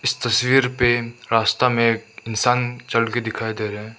तस्वीर पे रास्ता में एक इंसान चलते दिखाई दे रहे हैं।